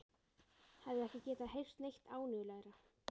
Hefði ekki getað heyrt neitt ánægjulegra.